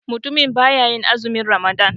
Mutumin baya yin azumin watan ramadan.